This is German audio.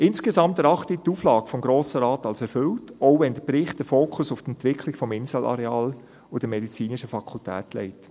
Insgesamt erachte ich die Auflage des Grossen Rates als erfüllt, auch wenn der Bericht den Fokus auf die Entwicklung des Inselareals und der medizinischen Fakultät legt.